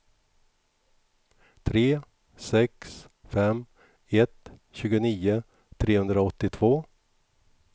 tre sex fem ett tjugonio trehundraåttiotvå